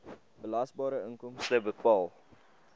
belasbare inkomste bepaal